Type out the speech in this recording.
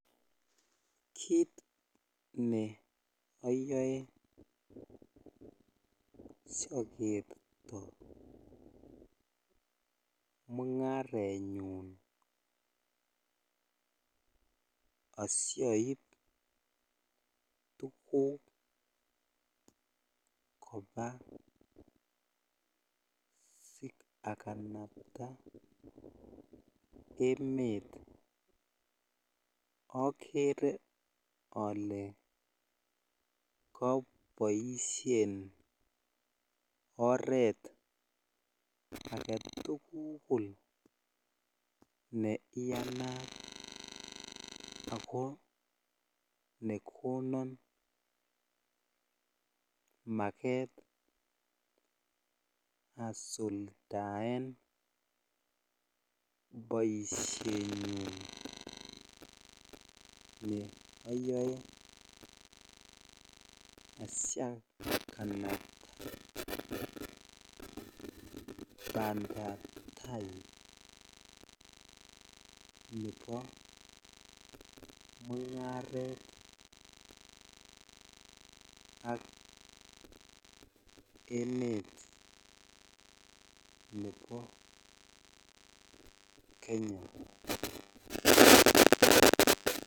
Kit ne oyoe siokerto mungaret nyun asioip tuguk kobaa asiakanaptaaa emet oke over ole koboishen o ret agetukul ne iyanat ako nekonon maket asuldaen boishenyun ne oyoe asiakanaptaa pandaptai nebo mungaret ak emet nebo Kenya.